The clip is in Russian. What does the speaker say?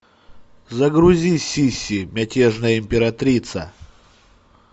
загрузи сисси мятежная императрица